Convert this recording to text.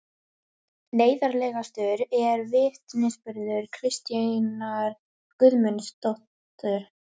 Neyðarlegastur er vitnisburður Kristínar Guðmundardóttur